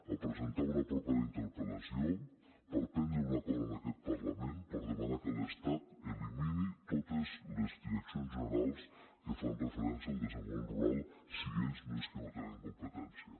a presentar una propera interpel·lació per prendre un acord en aquest parlament per demanar que l’estat elimini totes les direccions generals que fan referència al desenvolupament rural si ells és que no tenen competència